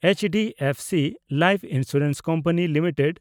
HDFC life insurance company limited